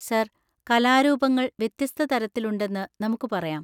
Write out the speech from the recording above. Sir, കലാരൂപങ്ങള്‍ വ്യത്യസ്ത തരത്തിലുണ്ടെന്ന് നമുക്ക് പറയാം.